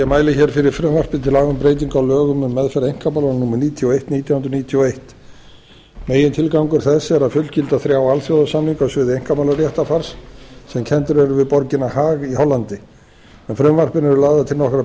ég mæli hér fyrir frumvarpi til laga um breyting á lögum um meðferð einkamála númer níutíu og eitt nítján hundruð níutíu og einn megintilgangur þess er að fullgilda þrjá alþjóðasamninga á sviði einkamálaréttarfars sem kenndir eru við borgina haag í hollandi með frumvarpinu eru lagðar til nokkrar